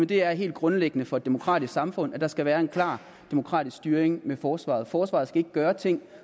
det er helt grundlæggende for et demokratisk samfund at der skal være en klar demokratisk styring af forsvaret forsvaret skal ikke gøre ting